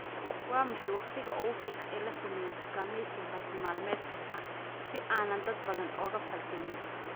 Waa maxay waqtiga ugu fiican ee la sameeyo dukaamaysiga bartilmaameedka ah si aanan dad badan ula falgelin